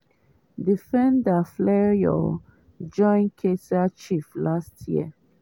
defender fleurs join kaiser chiefs last year.